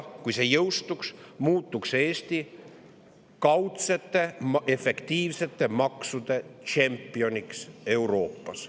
Kui see jõustuks, siis sellega muutuks Eesti kaudsete efektiivsete maksude tšempioniks Euroopas.